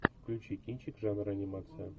включи кинчик жанра анимация